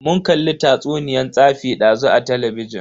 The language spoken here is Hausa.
Mun kalli tatsuniyan tsafi dazu a talabijin.